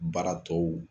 Baara tɔw